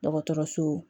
Dɔgɔtɔrɔso